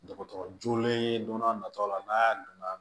Dɔgɔtɔrɔ joonalen don n'a nataw la n'a donna